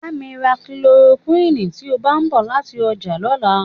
Bá mi ra kílorokúìnnì tí o bá ń bọ̀ láti ọjà lọ́la.